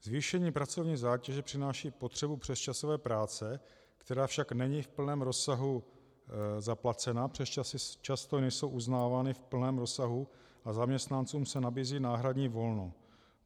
Zvýšení pracovní zátěže přináší potřebu přesčasové práce, která však není v plném rozsahu zaplacena, přesčasy často nejsou uznávány v plném rozsahu a zaměstnancům se nabízí náhradní volno.